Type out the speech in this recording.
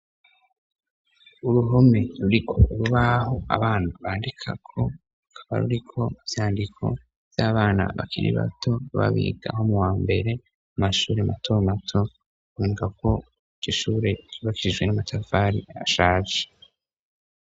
uruhome ruriko urubaho abana bandikako ruba ruriko ibyandiko by'abana bakiri bato bbabigaho mu wa mbere amashuri mato mato indka ko igishure ribakirijwe n'amatavari ashaje